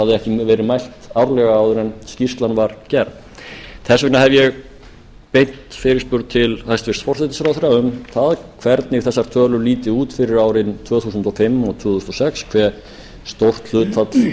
þetta hafði ekki verið mælt árlega áður en skýrslan var gerð þess vegna hef ég beint fyrirspurn til hæstvirts forsætisráðherra um það hvernig þessar tölu líti út fyrir árin tvö þúsund og fimm og tvö þúsund og sex hve stórt hlutfall